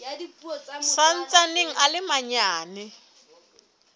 sa ntsaneng a le manyane